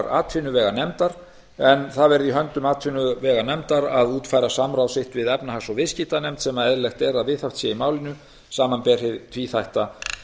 atvinnuveganefndar en það verði í höndum atvinnuveganefndar að útfæra samráð sitt við efnahags og viðskiptanefnd sem eðlilegt er að viðhaft sé í málinu samanber hið tvíþætta